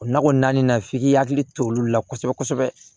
O nakɔ naani na f'i k'i hakili to olu la kosɛbɛ kosɛbɛ